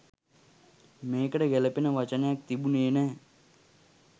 මේකට ගැළපෙන වචනයක් තිබුණේ නෑ.